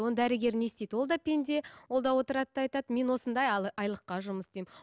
оны дәрігер не істейді ол да пенде ол да отырады да айтады мен осындай айлыққа жұмыс істеймін